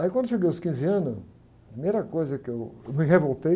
Aí quando eu cheguei aos quinze anos, a primeira coisa que eu, eu me revoltei,